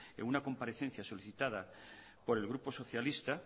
en una comparecencia solicitada por el grupo socialista